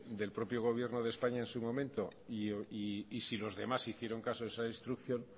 del propio gobierno de españa en su momento y si los demás hicieron caso a esa instrucción